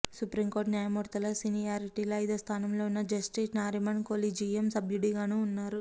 supreme court న్యాయమూర్తుల సీనియారిటీలో ఐదోస్థానంలో ఉన్న జస్టిస్ నారిమన్ కొలీజియం సభ్యుడిగానూ ఉన్నారు